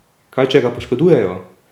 Kaj, če ga poškodujejo?